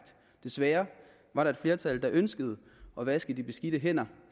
desværre var der et flertal der ønskede at vaske de beskidte hænder